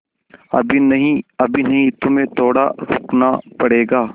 अभी नहीं अभी नहीं तुम्हें थोड़ा रुकना पड़ेगा